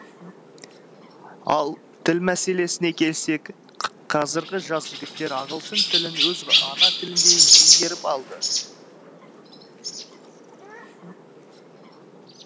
ал тілмәселесіне келсек қазіргі жас жігіттер ағылшын тілін өз ана тіліндей меңгеріп алды